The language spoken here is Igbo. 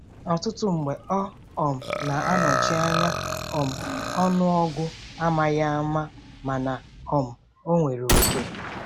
Ọtụtụ mgbe ọ um na-anọchi anya um ọnụọgụ amaghi ama mana um ọ nwere oke.